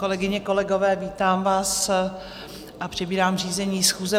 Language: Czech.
Kolegyně, kolegové, vítám vás a přebírám řízení schůze.